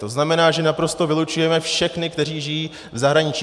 To znamená, že naprosto vylučujeme všechny, kteří žijí v zahraničí.